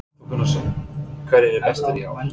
Hafþór Gunnarsson: Hverjir eru bestir í ár?